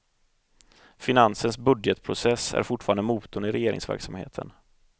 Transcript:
Finansens budgetprocess är fortfarande motorn i regeringsverksamheten.